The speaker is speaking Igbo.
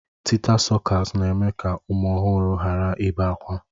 Tịta sọkas na-eme ka ụmụ ọhụrụ hara ibe akwa.